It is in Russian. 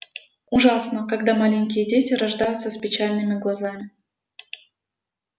ужасно когда маленькие дети рождаются с печальными глазами